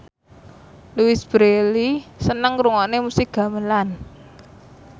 Louise Brealey seneng ngrungokne musik gamelan